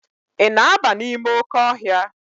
Ị na-aba n'ime oke ọhịa?